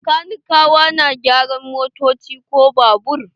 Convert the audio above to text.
Kanikawa na gyaran motoci ko babura.